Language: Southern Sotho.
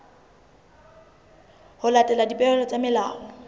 ho latela dipehelo tsa molao